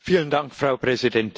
Frau Präsidentin!